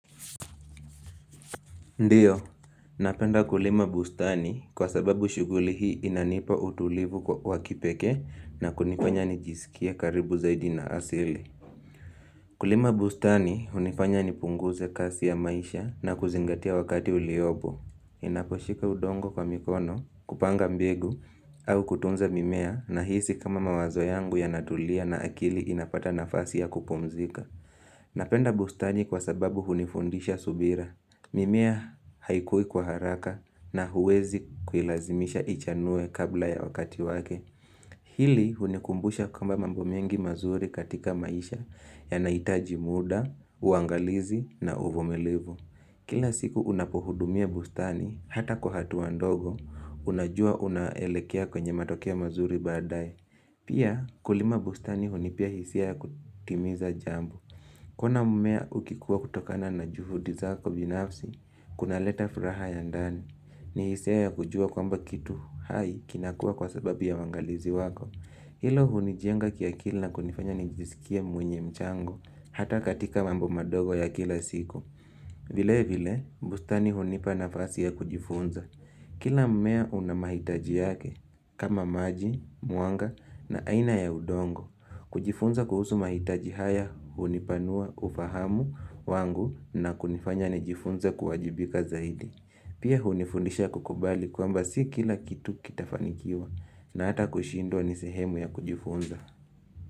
Ndiyo, napenda kulima bustani kwa sababu shughuli hii inanipa utulivu kwa wa kipekee na kunifanya nijisikie karibu zaidi na asili. Kulima bustani hunifanya nipunguze kasi ya maisha na kuzingatia wakati uliopo. Ninaposhika udongo kwa mikono, kupanda mbegu au kutunza mimea nahisi kama mawazo yangu yanatulia na akili inapata nafasi ya kupumzika. Napenda bustani kwa sababu hunifundisha subira. Mimea haikui kwa haraka na huwezi kuilazimisha ichanue kabla ya wakati wake. Hili hunikumbusha kwamba mambo mengi mazuri katika maisha ya nayahitaji muda, uangalizi na uvumilivu. Kila siku unapohudumia bustani, hata kwa hatua ndogo, unajua unaelekea kwenye matokeo mazuri baadaye. Pia kulima bustani hunipea hisia kutimiza jambo. Kuna mmea ukikuwa kutokana na juhudi zako binafsi, kunaleta furaha ya ndani. Ni hisia ya kujua kwamba kitu hai kinakua kwa sababu ya uangalizi wako. Hilo hunijenga kiakili na kunifanya nijisikie mwenye mchango, hata katika mambo madogo ya kila siku. Vile vile, bustani hunipa nafasi ya kujifunza. Kila mmea una mahitaji yake, kama maji, mwanga na aina ya udongo. Kujifunza kuhusu mahitaji haya hunipanua ufahamu wangu na kunifanya nijifunze kuwajibika zaidi. Pia hunifundisha kukubali kwamba si kila kitu kitafanikiwa na hata kushindwa ni sehemu ya kujifunza.